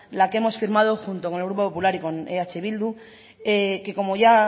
la que hemos firmado junto con el grupo popular y eh bildu que como ya